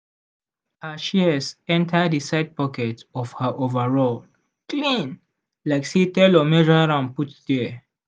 we take flat screwdriver jam the loose screw tight make the shears strong again.